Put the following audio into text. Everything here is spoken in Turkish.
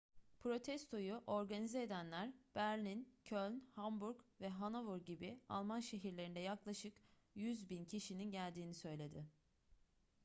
protestoyu organize edenler berlin köln hamburg ve hannover gibi alman şehirlerinde yaklaşık 100.000 kişinin geldiğini söyledi